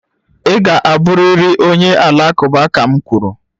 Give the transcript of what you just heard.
Ị ga-abụrịrị onye Alakụba ka m kwuru!